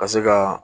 Ka se ka